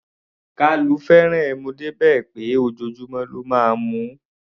Kalu fẹ́ràn ẹmu dé bí pé ojoojúmọ́ ló máa ń mu ú.